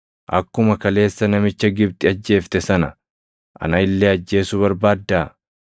Akkuma kaleessa namicha Gibxi ajjeefte sana ana illee ajjeesuu barbaaddaa?’ + 7:28 \+xt Bau 2:14\+xt*